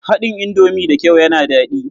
Haɗin indomi da kyau yana daɗi.